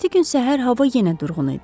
Növbəti gün səhər hava yenə durğun idi.